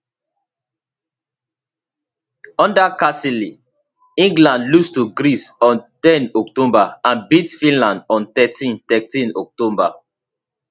under carsley england lose to greece on ten october and beat finland on thirteen thirteen october